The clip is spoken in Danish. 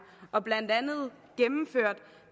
og blandt andet gennemført